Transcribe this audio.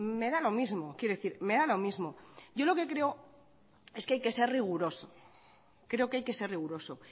me da lo mismo quiero decir me da lo mismo yo lo que creo es que hay que ser riguroso creo que hay que ser riguroso